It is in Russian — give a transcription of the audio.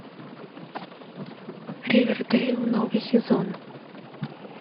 ривердейл новый сезон